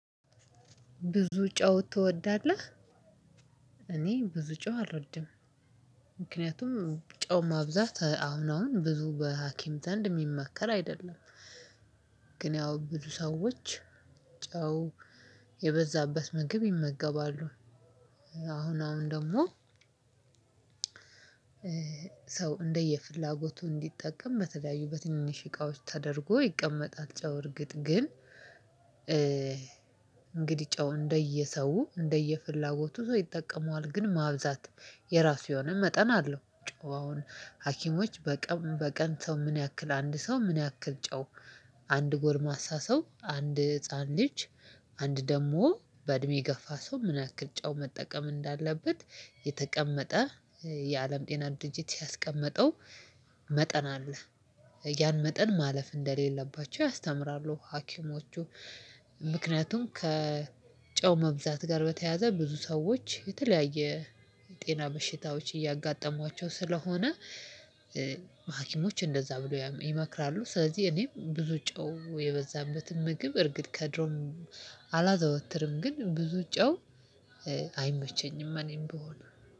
ብዙ ጨው ትወዳለህ? እኔ ብዙ ጨው አልወድም። ምክንያቱም ጨው ማብዛት አሁን አሁን ብዙ በሀኪም ዘንድ የሚመከር አይደለም። ግን ያው ብዙ ሰዎች ጨው የበዛበት ምግብ ይመገባሉ። አሁን አሁን ደግሞ ሰው እንደየፍላጎቱ እንዲጠቀም በተለያዩ በትንሽ እቃዎች ተደርጎ ይቀመጣል ጨው እርግጥ ግን። እንግዲህ ጨው እንደየሰው እንደየፍላጎቱ ሰው ይጠቀመዋል ግን ማብዛት የራሱ የሆነ መጠን አለው። ጨው አሁን ሀኪሞች በቀን በቀን ሰው ምን ያክል አንድ ሰው ምን ያክል ጨው? አንድ ጎልማሳ ሰው አንድ ህፃን ልጅ። አንድ ደግሞ በእድሜ ገፋ ሰው ምን ያክል ጨው መጠቀም እንዳለበት? የተቀመጠ የአለም ጤና ድንጅት ያስቀመጠው መጠን አለ። ያን መጠን ማለፍ እንደሌለባቸው ያስተምራሉ ሀኪሞቹ። ምክንያቱም ከጨው መብዛት ጋር በተያያዘ ብዙ ሰዎች የተለያየ ጤና በሽታዎች እያጋጠሟቸው ስለሆነ። ሀኪሞች እንደዛ ብለው ይመክራሉ። ስለዚህ እኔም ብዙ ጨው የበዛበትን ምግብ እርግጥ ከድሮም አላዘወትርም ግን ብዙ ጨው አይመቸኝም። እኔም ብሆን